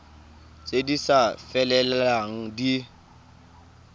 tse di sa felelang di